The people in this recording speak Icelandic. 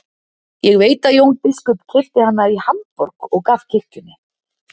Ég veit að Jón biskup keypti hana í Hamborg og gaf kirkjunni.